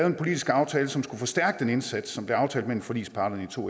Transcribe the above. en politisk aftale som skulle forstærke den indsats som blev aftalt mellem forligsparterne i to